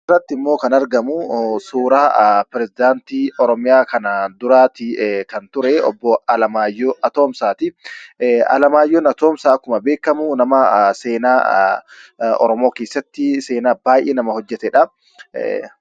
As gubbaatti immoo kan argamu pirezedaantii oromiyaa kanaan duraa kan ture obbo Alamaayyoo Atoomsaati. Alamaayyoon Atoomsaa akkuma beekamu nama seenaa oromoo keessatti seenaa baay'ee hojjatedha.